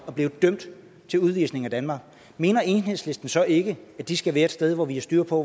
og er blevet dømt til udvisning af danmark mener enhedslisten så ikke at de skal være et sted hvor vi har styr på